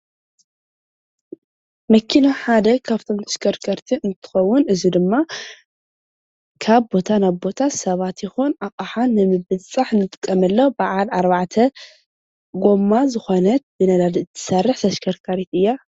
መኪና ሓደ ካፍቶም ተሽከርከርቲ እንትትኸውን እዚ ድማ ካብ ቦታ ናብ ቦታ ሰባት ይኹን ኣቕሓ ንምብፅፃሕ ንጥቀመላ በዓል ኣርባዕተ ጐማ ዝኾነት ብነዳዲ እትሰርሕ ተሽከርካሪት እያ፡፡